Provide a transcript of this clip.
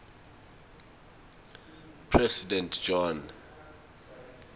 president john